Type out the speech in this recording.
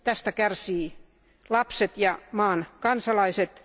Tästä kärsivät lapset ja maan kansalaiset.